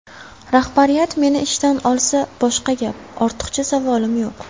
Rahbariyat meni ishdan olsa boshqa gap, ortiqcha savolim yo‘q.